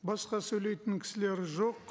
басқа сөйлейтін кісілер жоқ